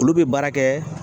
Olu bɛ baara kɛ